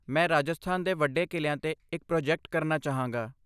ਮੈਂ ਰਾਜਸਥਾਨ ਦੇ ਵੱਡੇ ਕਿਲ੍ਹਿਆਂ 'ਤੇ ਇੱਕ ਪ੍ਰੋਜੈਕਟ ਕਰਨਾ ਚਾਹਾਂਗਾ।